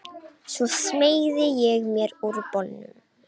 Svo smeygði ég mér úr bolnum.